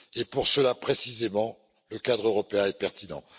Pour cela, précisément, le cadre européen est pertinent.